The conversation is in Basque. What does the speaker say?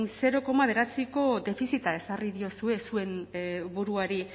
zero koma bederatziko defizita ezarri diozue zuen buruari